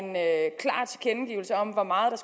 hvor meget